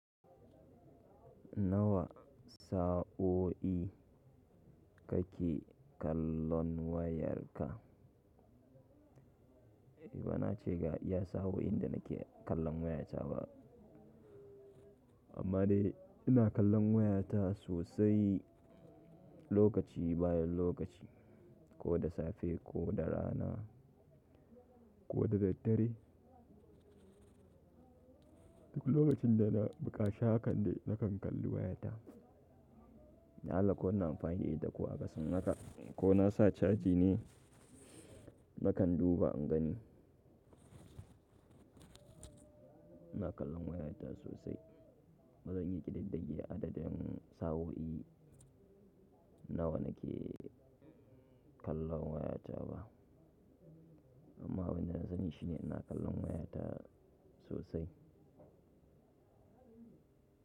Nawa sa'o'i kake kallon wayarka? Bana ce ga iya sa'o'in da nake kallon wayata ba, amma dai ina kallon wayata sosai lokaci bayan lokaci, ko da safe ko da rana ko da daddare. Duk lokacin da na buƙaci hakan dai nakan kalli wayata. Na Allah ko ina amfani da ita ko aƙasin haka ko na sa caji ne nakan duba in gani. Ina kallon wayata sosai. Ba zan iya ƙididdige adadin sa'o'i nawa nake kallon wayata ba. Amma abinda na sani shine ina kallon wayata sosai.